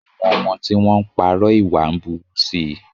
Àwọn ọmọ tí wọ́n ń parọ́ ìwà ń burú sí i.